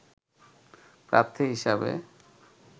প্রার্থী হিসেবে